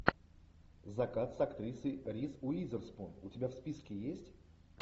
закат с актрисой риз уизерспун у тебя в списке есть